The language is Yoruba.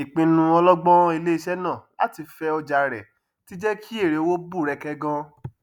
ìpinnu ọlọgbọn iléiṣẹ náà láti fẹ ọjà rẹ tí jẹ ki èrèowó bú rẹkẹ gan